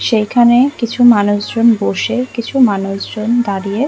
সেইখানে কিছু মানুষজন বসে কিছু মানুষজন দাঁড়িয়ে-- ।